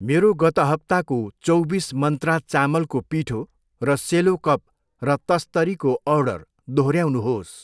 मेरो गत हप्ताको चौबिस मन्त्रा चामलको पिठो र सेलो कप र तस्तरी को अर्डर दोहोऱ्याउनुहोस्।